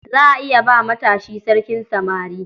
Za a iya ba matashi sarkin samari.